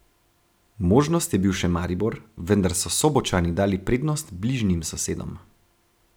Možnost je bil še Maribor, vendar so Sobočani dali prednost bližnjim sosedom.